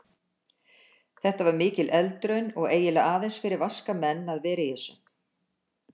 Þetta var mikil eldraun og eiginlega aðeins fyrir vaska menn að vera í þessu.